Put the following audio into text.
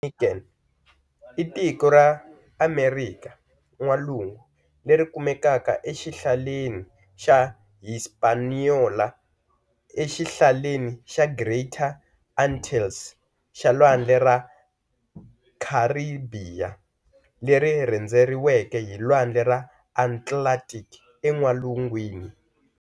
Dominican i tiko ra Amerika N'walungu leri kumekaka exihlaleni xa Hispaniola exihlaleni xa Greater Antilles xa Lwandle ra Kharibiya, leri rhendzeriweke hi Lwandle ra Atlantic en'walungwini.